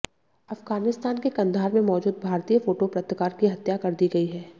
अफगानिस्तान के कंधार में मौजूद भारतीय फोटो पत्रकार की हत्या कर दी गई है